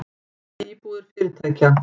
Tómar íbúðir fyrirtækja